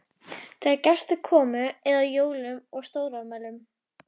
Þegar gestir komu eða á jólum og stórafmælum.